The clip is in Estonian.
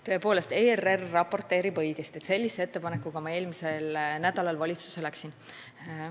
Tõepoolest, ERR raporteeris õigesti, et sellise ettepanekuga ma eelmisel nädalal valitsusse läksin.